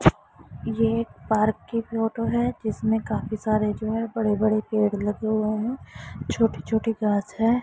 ये एक पार्क की फोटो है जिसमें काफी सारे जो है बड़े बड़े पेड़ लगे हुए है छोटी छोटी घास है।